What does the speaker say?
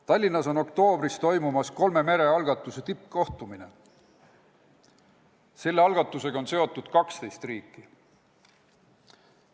Tallinnas on oktoobris toimumas kolme mere algatuse tippkohtumine, sellega on seotud 12 riiki.